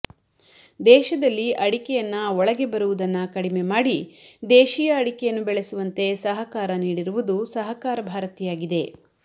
ದೇಶದಲ್ಲಿ ಅಡಿಕೆಯನ್ನ ಒಳಗೆ ಬರುವುದನ್ನ ಕಡಿಮೆ ಮಾಡಿ ದೇಶಿಯ ಅಡಿಕೆಯನ್ನಬೆಳೆಸುವಂತೆ ಸಹಕಾರ ನೀಡಿರುವುದು ಸಹಕಾರ ಭಾರತಿಯಾಗಿದೆ